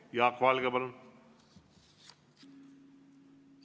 Jaak Valge, palun!